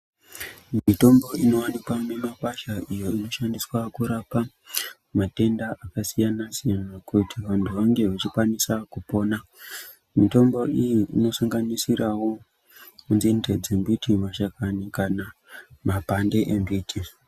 Mitombo inowanikwa mumakwasha iyo i oshandiswa kurapa matenda akasiyana siyana kuti vantu vange veikwanisa kupona mitombo iyi inosanganisira wo nzinde dzembiti mashakani kana mapande embiti.